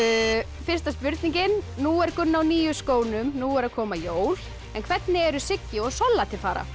fyrsta spurningin nú er Gunna á nýju skónum nú eru að koma jól en hvernig eru Siggi og Solla til fara